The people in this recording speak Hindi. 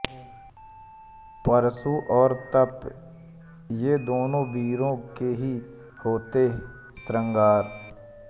परशु और तप ये दोनों वीरों के ही होते श्रृंगार